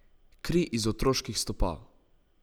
Kri iz otroških stopal.